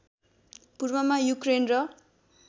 पूर्वमा युक्रेन र